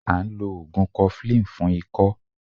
À n lo ògùn 'cofflin fún ikọ́